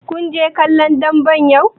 Kun je kallon dambe yau?